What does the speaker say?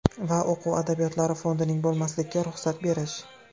va o‘quv adabiyotlari fondining bo‘lmasligiga ruxsat berish.